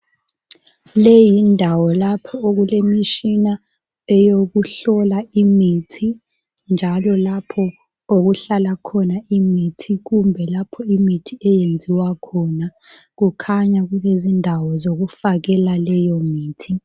leyi yindawo lapho okulemitshina eyokuhlola imithi njalo lapho okuhlala khona imithi kumbe lapho okulemithi eyenziwa khona. Kukhanya kulezindawo zokufakela leyo mithi